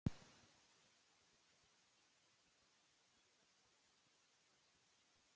Eftir þvott er best að þerra húðina gætilega og bera kremið strax á eftir.